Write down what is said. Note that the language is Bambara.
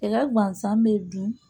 I ka gansan bɛ bin